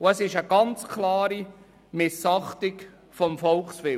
Es ist eine ganz klare Missachtung des Volkswillens.